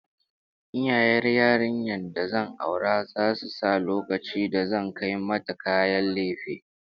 Iyayen yarinyar da zan aura zasu sa lokacin da zan kai mata kayan lefe